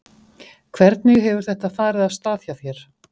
Hvernig hefur þetta farið af stað hjá þér?